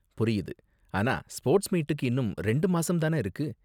புரியுது, ஆனா ஸ்போர்ட்ஸ் மீட்டுக்கு இன்னும் ரெண்டு மாசம் தான இருக்கு?